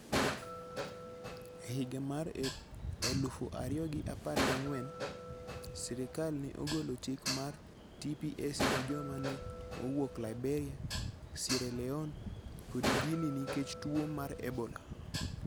E higa mar elufu ariyo gi apar gangwen', sirkal ne ogolo chik mar TPS ne joma ne owuok Liberia, Sierra Leone, kod Guinea nikech tuwo mar Ebola.